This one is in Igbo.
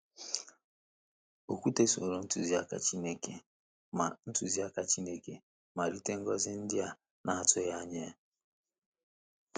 Okwute soro ntụzịaka Chineke ma ntụzịaka Chineke ma ritere ngọzi ndị a na-atụghị anya ya.